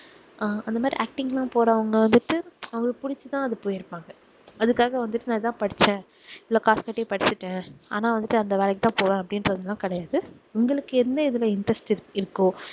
அஹ் அந்த மாதிரி acting லாம் போறவங்க வந்துட்டு அவங்களுக்கு புடிச்சு தான் அது போயிருப்பாங்க அதுக்காக வந்துட்டு நான் இதான் படிச்சேன் இவ்ளோ காசு கட்டி படிச்சுட்டேன் ஆனா வந்து அந்த வேலைக்கு தான் போவேன் அப்படின்னு சொல்லியெல்லாம் கிடையாது உங்களுக்கு என்ன இதுல interest இரு~ இருக்கோ